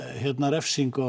refsingu á